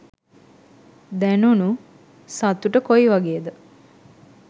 දැනුණු සතුට කොයි වගේද?